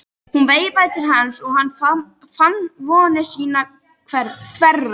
Hún veifaði til hans og hann fann vonir sínar þverra.